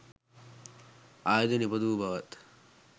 ආයුධ නිපදවූ බවත්,